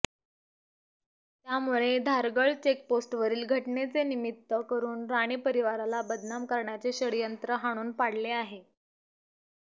त्यामुळे धारगळ चेकपोस्टवरील घटनेचे निमित्त करून राणे परिवाराला बदनाम करण्याचे षड्यंत्र हाणून पडले आहे